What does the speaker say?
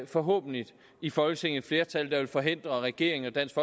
forhåbentlig i folketinget flertal der vil forhindre regeringen og dansk